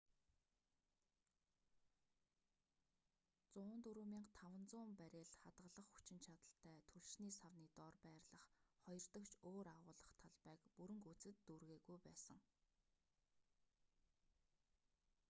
104,500 баррель хадгалах хүчин чадалтай түлшний савны доор байрлах хоёрдогч өөр агуулах талбайг бүрэн гүйцэд дүүргээгүй байсан